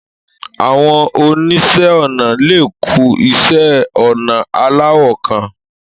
Àwọn oníṣẹ́ ọnà le kun iṣẹ́-ọnà aláwọ̀ kan.